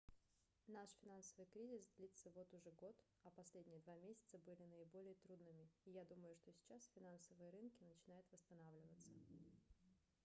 наш финансовый кризис длится вот уже год а последние два месяца были наиболее трудными и я думаю что сейчас финансовые рынки начинают восстанавливаться